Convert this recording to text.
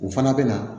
U fana bɛ na